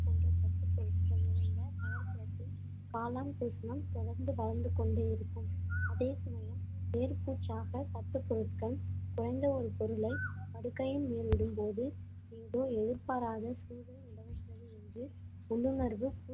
காளான் தொடர்ந்து வளர்ந்து கொண்டே இருக்கும் அதே சமயம் மேற்பூச்சாக தட்டுப் பொருட்கள் குறைந்த ஒரு பொருளை படுக்கையின் மேலிடும்போது எதிர்பாராத உள்ளுணர்வு